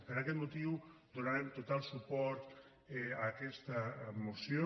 per aquest motiu donarem total suport a aquesta moció